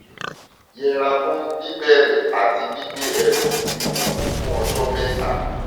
yẹra fún bíbẹrẹ àti gbígbé ẹrù wíwúwo fún ọjọ mẹta